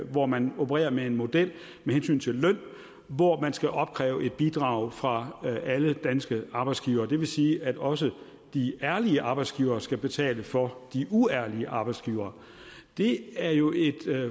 hvor man opererer med en model med hensyn til løn hvor man skal opkræve et bidrag fra alle danske arbejdsgivere det vil sige at også de ærlige arbejdsgivere skal betale for de uærlige arbejdsgivere det er jo et